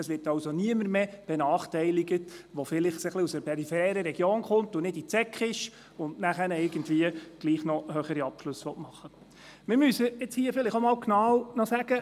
Es wird also niemand mehr benachteiligt, der aus einer peripheren Region kommt und die Sekundarschule nicht besucht hat, dann aber trotzdem höhere Abschlüsse machen möchte.